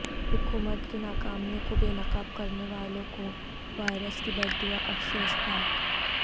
حکومت کی ناکامیوں کو بے نقاب کرنے والوں کو وائرس کی بددعاافسوسناک